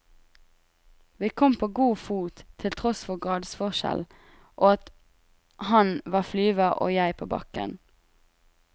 Vi kom på god fot til tross for gradsforskjell, og at han var flyver og jeg på bakken.